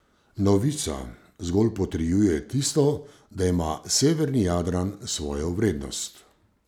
Novica zgolj potrjuje tisto, da ima severni Jadran svojo vrednost.